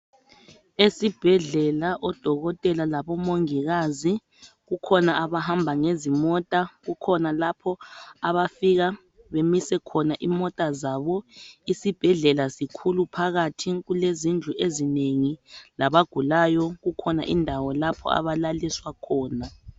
Esibhedlela oDokotela laboMongikazi, kukhona abahamba ngezimota kukhona lapho abafika bamise khona imota zabo, isibhedlela sikhulu phakathi, kulezindlu ezinengi labagulayo kukhona indawo lapho abalaliswa khona